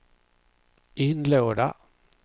inlåda